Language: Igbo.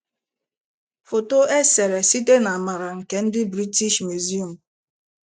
Foto e sere site na amara nke ndị British Museum